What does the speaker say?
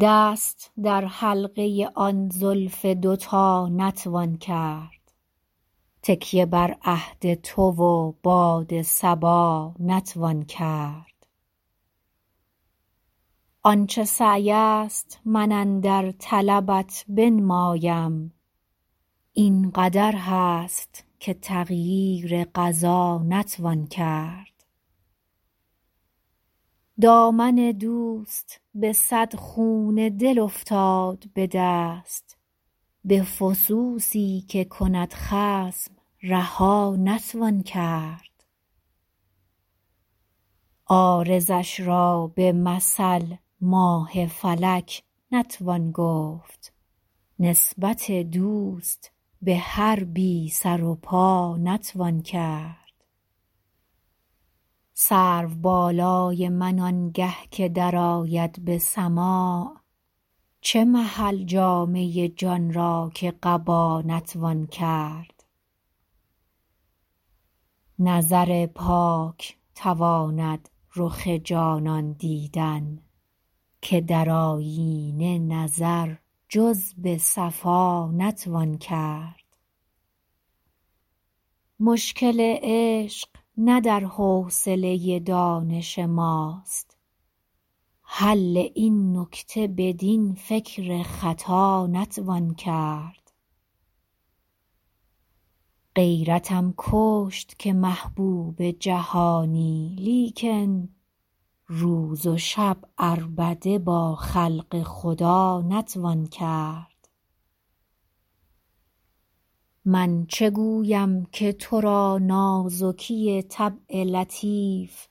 دست در حلقه آن زلف دوتا نتوان کرد تکیه بر عهد تو و باد صبا نتوان کرد آن چه سعی است من اندر طلبت بنمایم این قدر هست که تغییر قضا نتوان کرد دامن دوست به صد خون دل افتاد به دست به فسوسی که کند خصم رها نتوان کرد عارضش را به مثل ماه فلک نتوان گفت نسبت دوست به هر بی سر و پا نتوان کرد سرو بالای من آنگه که درآید به سماع چه محل جامه جان را که قبا نتوان کرد نظر پاک تواند رخ جانان دیدن که در آیینه نظر جز به صفا نتوان کرد مشکل عشق نه در حوصله دانش ماست حل این نکته بدین فکر خطا نتوان کرد غیرتم کشت که محبوب جهانی لیکن روز و شب عربده با خلق خدا نتوان کرد من چه گویم که تو را نازکی طبع لطیف